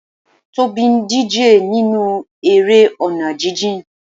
Tobi ń díje nínú eré ọ̀nà jijìn.